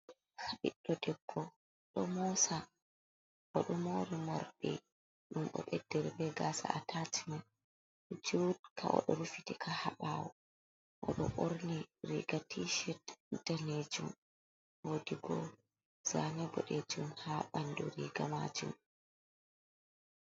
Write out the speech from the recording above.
Ɓiɗɗo debbo ɗo moosa o ɗo moori morɗi ɗum o ɓeddiri be gaasa jutka.O ɗo rufitika haa ɓaawo o ɗo ɓorni riiga tiicet daneejum woodi bo, zaane boɗeejum haa ɓanndu riiga maajum.